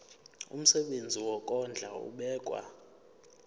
umsebenzi wokondla ubekwa